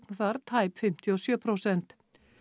þar tæp fimmtíu og sjö prósent